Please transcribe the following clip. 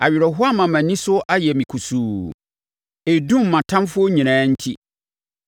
Awerɛhoɔ ama mʼani so ayɛ me kusuu. Ɛredum mʼatamfoɔ nyinaa enti.